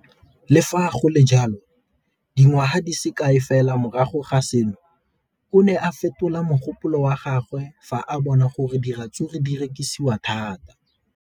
Le fa go le jalo, dingwaga di se kae fela morago ga seno, o ne a fetola mogopolo wa gagwe fa a bona gore diratsuru di rekisiwa thata.